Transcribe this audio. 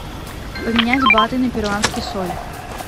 поменять баты на перуанский соль